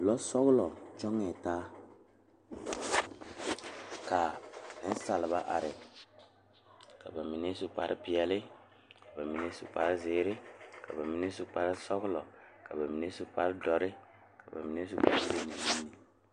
Lɔsɔglɔ toɔ la taa kaa nensaalba are ka bamine su kpare peɛle, ka bamine su kpare ziiri ka bamine su kpare sɔglɔ ka bamine su kpare doɔre ka bamine su kpare lene lene.